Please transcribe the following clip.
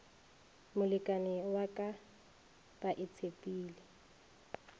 molekani wa ka ba itshepile